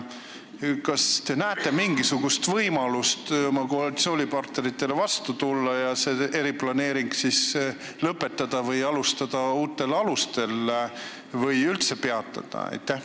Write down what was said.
Kas te näete mingisugust võimalust oma koalitsioonipartneritele vastu tulla ja see eriplaneering lõpetada, alustada uutel alustel või üldse peatada?